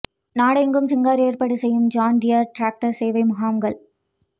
நாடெங்கும் சிங்கர் ஏற்பாடு செய்யும் ஜோன் டியர் ட்ரக்டர் சேவை முகாம்கள்